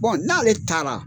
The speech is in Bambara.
n'ale taara